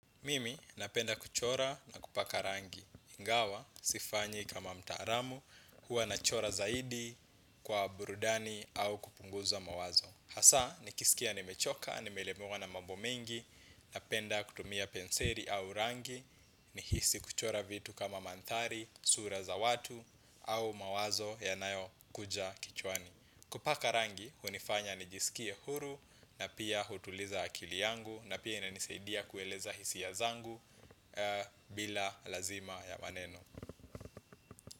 Mimi napenda kuchora na kupaka rangi, ingawa, sifanyi kama mtaalamu, huwa nachora zaidi kwa burudani au kupunguza mawazo. Hasa, nikisikia ni mechoka, nimelemewa na mambo mengi, napenda kutumia penseli au rangi, nihisi kuchora vitu kama manthari, sura za watu au mawazo yanayo kuja kichwani. Hasa, nikisikia nimechoka, nimelemewa na mabo mengi, napenda kutumia penseli au rangi, nihisi kuchora vitu kama manthari, sura za watu au mawazo yanayo kuja kichwani. Bila lazima ya maneno.